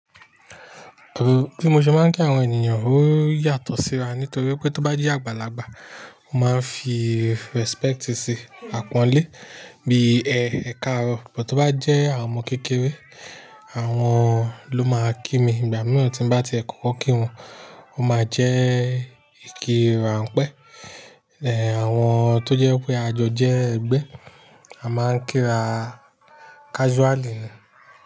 O, bí mo ṣe máa ń kí àwọn ènìyàn ó yàtọ̀ síra nítorí pé tó bá jẹ́ àgbàlagbà, mo máa ń fi respect sí àpọ́nlé bí i ẹ ẹ̀karọ̀, bó tí bá jẹ́ àwọn ọmọ kékeré àwọn ló máa kí mi, ìgbà mìíràn tí bá tiẹ̀ kọ́kọ́ kí wọn o máa jẹ́ ìkíra pẹ́. Ẹ̀ àwọn tó jẹ́ pé àjọ jẹ́ ẹgbẹ́, a máa ń kí ra casually ni.